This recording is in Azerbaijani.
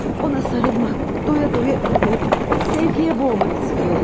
Ona sarılmaq, doya-doya öpmək, sevgiyə boğmaq istəyirəm.